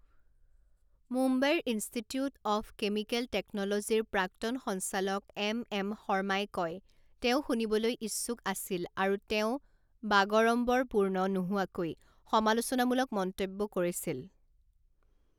মুম্বাইৰ institute of chemical টেকন'লজীৰ প্ৰাক্তন সঞ্চালক এম এম শৰ্মাই কয়, তেওঁ শুনিবলৈ ইচ্ছুক আছিল আৰু তেওঁ বাগাড়ম্বৰপূৰ্ণ নোহোৱাকৈ সমালোচনামূলক মন্তব্য কৰিছিল।